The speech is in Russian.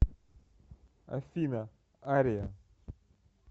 афина ария